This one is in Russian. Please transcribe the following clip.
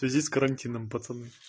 в связи с карантином пацаны